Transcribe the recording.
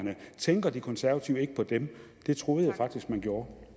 tænker de konservative ikke på dem det troede jeg faktisk man gjorde